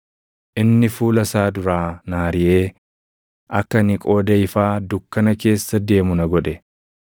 Inni fuula isaa duraa na ariʼee akka ani qooda ifaa dukkana keessa deemu na godhe;